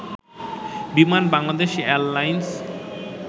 Biman Bangladesh airlines